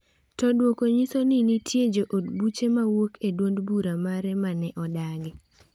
To duoko nyiso ni nitie jo od buche ma wuok e duond bura mare ma ne odagi.